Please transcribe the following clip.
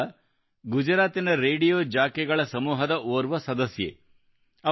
ಗಂಗಾ ಗುಜರಾತಿನ ರೇಡಿಯೋ ಜಾಕಿಗಳ ಸಮೂಹದ ಓರ್ವ ಸದಸ್ಯೆಯಾಗಿದ್ದಾರೆ